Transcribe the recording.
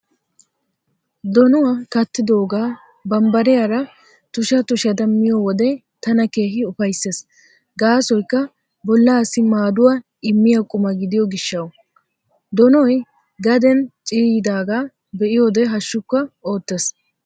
Donuwaa kattidoogaa bambbariyaara tusha tushada miyo wode tana keehi ufayssees gaasoykka bollaassi maaduwaa immiyaa quma gidiyo gishshawu. Donoy gaden ciiyyidaagaa be'iyoode hashshukka oottees.